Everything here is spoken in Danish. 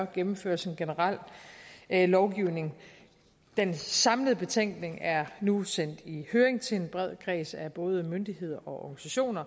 gennemføres en generel lovgivning den samlede betænkning er nu sendt i høring til en bred kreds af både myndigheder og